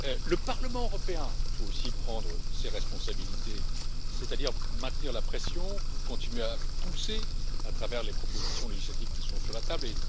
Le Parlement européen doit aussi prendre ses responsabilités, c'est à dire maintenir la pression, continuer à exercer son influence à travers les propositions législatives qui sont sur la table.